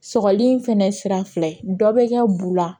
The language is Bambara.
Sɔgɔli fɛnɛ sira fila ye dɔ bɛ kɛ bu la